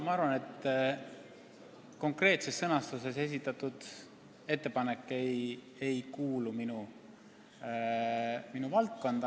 Ma arvan, et konkreetses sõnastuses esitatud ettepanek ei kuulu minu töövaldkonda.